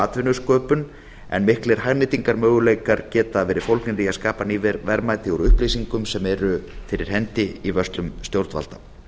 atvinnusköpun en miklir hagnýtingarmöguleikar geta verið fólgnir í að skapa ný verðmæti úr upplýsingum sem eru fyrir hendi í vörslum stjórnvalda